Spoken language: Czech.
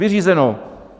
Vyřízeno!